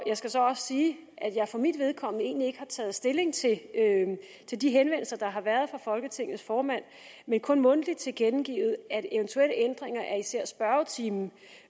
skal så også sige at jeg for mit vedkommende egentlig ikke har taget stilling til til de henvendelser der har været fra folketingets formand men kun mundtligt tilkendegivet at eventuelle ændringer af især spørgetimen